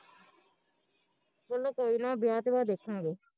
ਚਲੋ ਕੋਈ ਨਾ ਵਿਆਹ ਤੇ ਬਾਦ ਦੇਖਾਂਗੇ